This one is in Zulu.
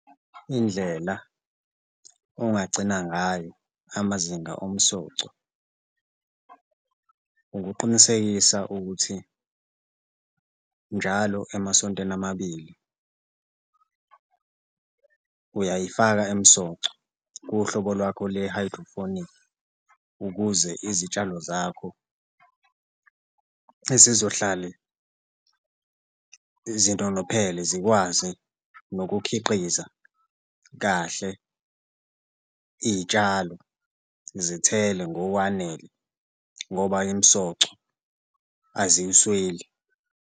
Indlela ongagcina ngayo amazinga omsoco ukuqinisekisa ukuthi njalo emasontweni amabili uyayifaka imsoco kuhlobo lwakho lwe-hydroponic ukuze izitshalo zakho ezizohlale izintolophele zikwazi nokukhiqiza kahle iy'tshalo, zithele ngokwanele ngoba imisoco aziyisweli.